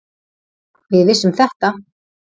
Við vissum þetta.